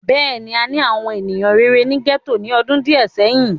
Bẹ́ẹ̀ni, àni àwọn eniyan rere ni gẹto ni ọdun diẹ sẹhin.